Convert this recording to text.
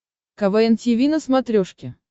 квн тиви на смотрешке